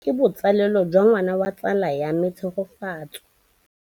Tleliniki e, ke botsalêlô jwa ngwana wa tsala ya me Tshegofatso.